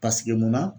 Paseke munna